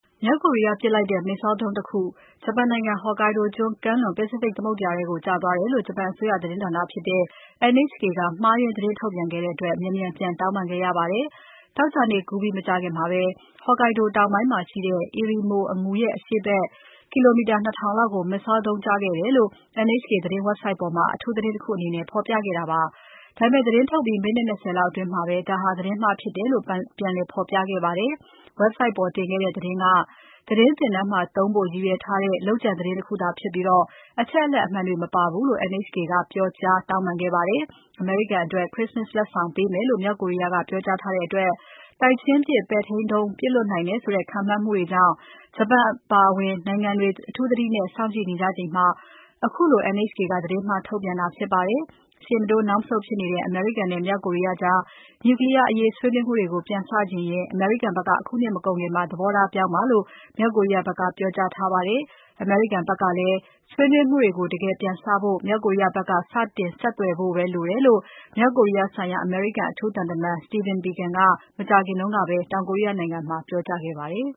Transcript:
မြောက်ကိုရီးယားပစ်လိုက်တဲ့ Missile ဒုံးတခု Hokkaido ကျွန်း ကမ်းလွန် ပစိဖိတ် သမုဒ္ဒရာထဲ ကျသွားတယ်လို့ ဂျပန်အစိုးရ သတင်းဌာနဖြစ်တဲ့ NHK က မှားယွင်း သတင်းထုတ်ပြန်ခဲ့တဲ့အတွက် မြန်မြန်ပြန်တောင်းပန်ခဲ့ရပါတယ်။ သောကြာနေ့ကူးပြီး မကြာခင်မှာပဲ Hokkaido တောင်ပိုင်းမှာရှိတဲ့ Erimo အငူရဲ့ အရှေ့ဘက် ကီလိုမီတာ ၂ ထောင်လောက်ကို Missile ဒုံး ကျခဲ့တယ်လို့ NHK သတင်း ဝက်ဘ်ဆိုက်ပေါ်မှာ အထူးသတင်းတခုအနေနဲ့ ဖော်ပြခဲ့တာပါ။ ဒါပေမယ့် သတင်းထုတ်ပြန်ပြီး မိနစ် ၂၀ လောက်အတွင်းမှာပဲ ဒါဟာ သတင်းမှားဖြစ်တယ်လို့ ပြန်လည်ဖော်ပြခဲ့ပါတယ်။ ဝက်ဘ်ဆိုက်ပေါ်တင်ခဲ့တဲ့ သတင်းက သတင်းသင်တန်းမှာသုံးဖို့ ရည်ရွယ်ထားတဲ့ လုပ်ကြံသတင်းတခုသာဖြစ်ပြီး အချက်အလက်အမှန်တွေ မပါဘူးလို့ ပြောကြားပြီး တောင်းပန်ခဲ့ပါတယ်။ အမေရိကန်အတွက် ခရစ္စမတ်လက်ဆောင်ပေးမယ်လို့ မြောက်ကိုရီးယားက ပြောကြားထားတဲ့အတွက် တိုက်ချင်းပစ် ပဲ့ထိန်းဒုံး ပစ်လွှတ်နိုင်တယ်ဆိုတဲ့ ခန့်မှန်းမှုတွေကြောင့် ဂျပန်အပါအဝင် နိုင်ငံတွေ အထူးသတိနဲ့ စောင့်ကြည့်နေကြချိန်မှာ ခုလို NHK က သတင်းမှား ထုတ်ပြန်တာဖြစ်ပါတယ်။ ရှေ့မတိုး နောက်မဆုတ် ဖြစ်နေတဲ့ အမေရိကန်နဲ့ မြောက်ကိုရီးယားကြား နျူကလီးယားအရေး ဆွေးနွေးမှုတွေကို ပြန်စချင်ရင် အမေရိကန်ဘက်က အခုနှစ်မကုန်ခင် သဘောထားပြောင်းပါလို့ မြောက်ကိုရီးယားဘက်က ပြောကြားထားပါတယ်။ အမေရိကန်ဘက်ကလည်း ဆွေးနွေးမှုတွေကို တကယ်ပြန်စဖို့ မြောက်ကိုရီးယားဘက်က စတင်ဆက်သွယ်ဖို့ပဲ လိုတယ်လို့ မြောက်ကိုရီးယားဆိုင်ရာ အမေရိကန် အထူးသံတမန် Stephen Biegun က မကြာခင်ကပဲ တောင်ကိုရီးယားမှာ ပြောကြားခဲ့ပါတယ်။